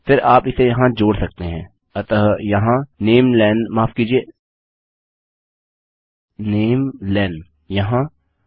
फिर आप इसे यहाँ जोड़ सकते हैं अतः यहाँ नमेलें माफ़ कीजिये namelenयहाँ